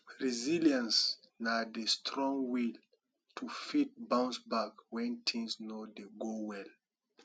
resillience na di strong will to fit bounce back when things no dey go well